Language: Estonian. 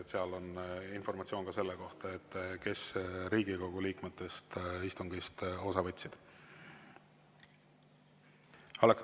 Seal on informatsioon ka selle kohta, kes Riigikogu liikmetest istungist osa võtsid.